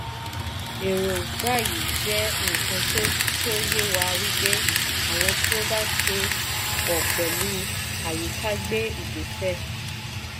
èròngbà yìí jẹ́ nnkan to to ye wà wípé àwọn tí o bá ṣe pọ̀ pẹ̀lú àyíká gbé ìgbésẹ̀.